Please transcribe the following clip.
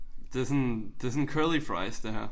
Det sådan det sådan curly fries det her